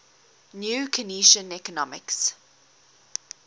new keynesian economics